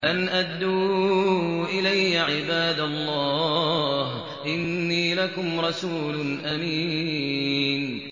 أَنْ أَدُّوا إِلَيَّ عِبَادَ اللَّهِ ۖ إِنِّي لَكُمْ رَسُولٌ أَمِينٌ